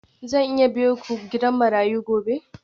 Zan iya biyo ku gidan marayu gobe?